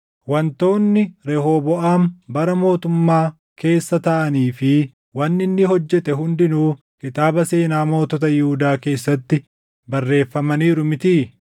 Wantoonni Rehooboʼaam bara mootummaa keessa taʼanii fi wanni inni hojjete hundinuu kitaaba seenaa mootota Yihuudaa keessatti barreeffamaniiru mitii?